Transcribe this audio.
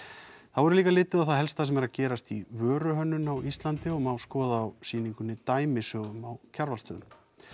þá verður líka litið á það helsta sem er að gerast í vöruhönnun á Íslandi og má skoða á sýningunni dæmisögur á Kjarvalsstöðum